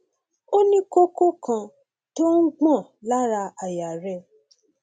ó ní kókó kan tó ń gbọn lára àyà rẹ